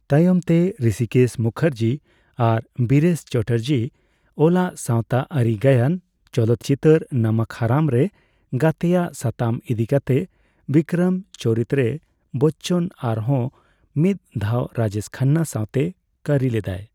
ᱛᱟᱭᱚᱢ ᱛᱮ ᱨᱤᱥᱤᱠᱮᱥ ᱢᱩᱠᱷᱟᱨᱡᱤ ᱟᱨ ᱵᱤᱨᱮᱥ ᱪᱮᱴᱟᱨᱡᱡᱤ ᱚᱞᱟᱜ ᱥᱟᱸᱣᱛᱟ ᱟᱹᱨᱤ ᱜᱟᱭᱟᱱ ᱪᱚᱞᱚᱛ ᱪᱤᱛᱟᱹᱨ ' ᱱᱚᱢᱚᱠ ᱦᱟᱨᱟᱢ' ᱨᱮ ᱜᱟᱛᱮᱭᱟᱜ ᱥᱟᱛᱟᱢ ᱤᱫᱤ ᱠᱟᱛᱮ ᱵᱤᱠᱨᱚᱢ ᱪᱚᱨᱤᱛ ᱨᱮ ᱵᱚᱪᱪᱚᱱ ᱟᱨᱦᱚᱸ ᱢᱤᱫ ᱫᱷᱟᱣ ᱨᱟᱡᱮᱥ ᱠᱷᱟᱱᱱᱟ ᱥᱟᱸᱣᱛᱮ ᱠᱟᱹᱨᱤ ᱞᱮᱫᱟᱭ ᱾